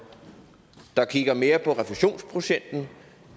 der kigger mere på refusionsprocenten